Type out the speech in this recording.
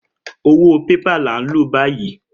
Owó bébà là ń lò báyìí.